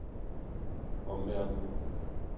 omverdenen